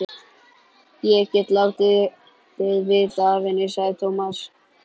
Ég get látið vita af henni, sagði Tómas.